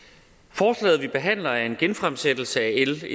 forslaget vi behandler er en genfremsættelse af l